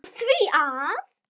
Af því að.